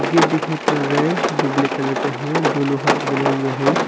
Gate दिखाई पड़ रहा है जो ब्लैक कलर का है जो लोहा से बनाया गया है।